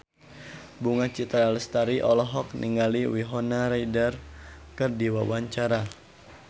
Bunga Citra Lestari olohok ningali Winona Ryder keur diwawancara